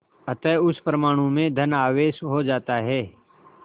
अतः उस परमाणु में धन आवेश हो जाता है